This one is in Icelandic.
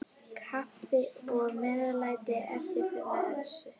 Kaffi og meðlæti eftir messu.